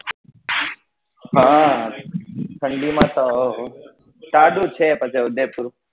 હા ઠંડી માં તો સારું છે તો ઉદયપુર